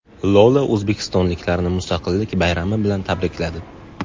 Lola o‘zbekistonliklarni Mustaqillik bayrami bilan tabrikladi.